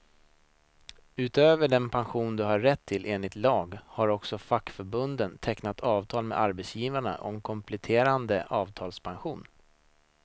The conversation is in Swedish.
Utöver den pension du har rätt till enligt lag, har också fackförbunden tecknat avtal med arbetsgivarna om kompletterande avtalspension.